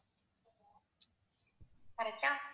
correct ஆ